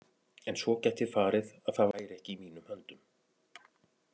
En svo gæti farið að það væri ekki í mínum höndum.